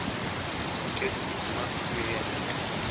Nikech tich ma omiyeni,